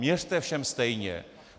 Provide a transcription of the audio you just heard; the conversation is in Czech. Měřte všem stejně.